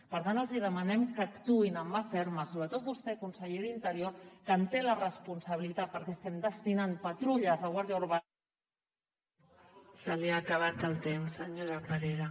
per tant els demanem que actuïn amb mà ferma sobretot vostè conseller d’interior que en té la responsabilitat perquè estem destinant patrulles de guàrdia urbana